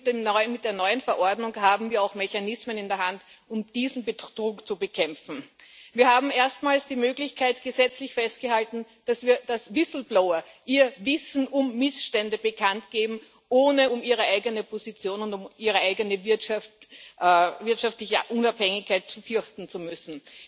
Mit der neuen Verordnung haben wir auch Mechanismen in der Hand, um diesen Betrug zu bekämpfen. Wir haben erstmals die Möglichkeit gesetzlich festgehalten, dass Whistleblower ihr Wissen um Missstände bekannt geben, ohne um ihre eigene Position und um ihre eigene wirtschaftliche Unabhängigkeit fürchten zu müssen.